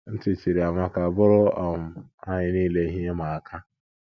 Ntị chiri Amaka bụụrụ um anyị nile ihe ịma aka.